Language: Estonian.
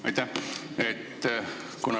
Aitäh!